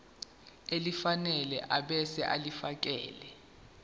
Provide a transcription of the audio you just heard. elifanele ebese ulifiakela